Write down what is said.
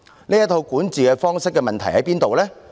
這套管治方式有甚麼問題呢？